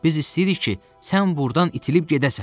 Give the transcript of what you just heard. Biz istəyirik ki, sən burdan itilib gedəsən!